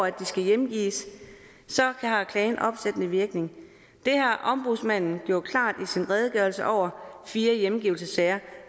at de skal hjemgives har klagen opsættende virkning det har ombudsmanden gjort klart i sin redegørelse over fire hjemgivelsessager